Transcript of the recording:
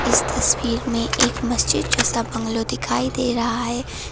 इस तस्वीर में एक मस्जिद जैसा बंगलो दिखाई दे रहा है।